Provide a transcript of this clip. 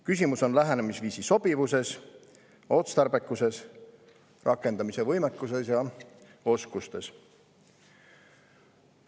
Küsimus on lähenemisviisi sobivuses, otstarbekuses, rakendamise võimekuses ja oskustes.